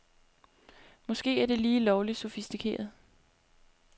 Måske er det lige lovligt sofistikeret.